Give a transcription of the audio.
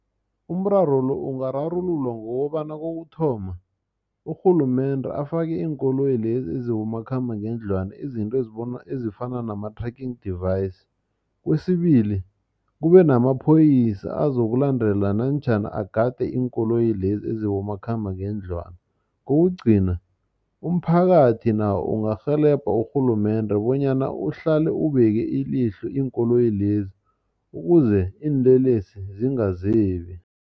Umraro lo ungararululwa ngokobana kokuthoma urhulumende afake iinkoloyi lezi ezibomakhambangendlwana izinto ezibona ezifana nama trafficking device, kwesibili kube yamaphoyisa azokulandela namtjhana agade iinkoloyi lezi ezibomakhambangendlwana. Kokugcina umphakathi nawo ungakurhelebha urhulumende bonyana uhlale ubeke ilihlo iinkoloyi lezi ukuze iinlelesi zingazebi.